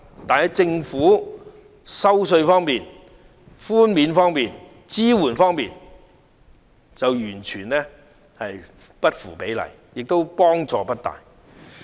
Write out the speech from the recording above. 但是，政府在稅收寬免方面完全不符比例，對中產人士亦都幫助不大。